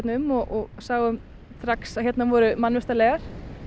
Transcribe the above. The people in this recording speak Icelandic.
um og sáum strax að hérna voru mannvistarleifar